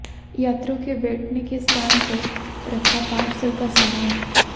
यात्रियों के बैठने के स्थान पर रखा पार्सल का सामान